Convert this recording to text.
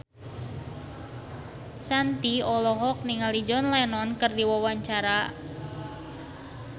Shanti olohok ningali John Lennon keur diwawancara